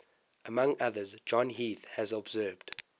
among others john heath has observed